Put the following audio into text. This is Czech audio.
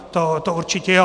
To určitě jo.